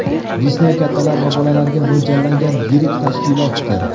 Disney kattalar va bolalarga mo‘ljallangan yirik tashkilotdir.